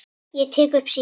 Ég tek upp símann.